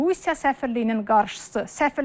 Rusiya səfirliyinin qarşısı.